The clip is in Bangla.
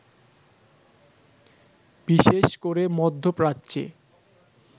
বিশেষ করে মধ্যপ্রাচ্যে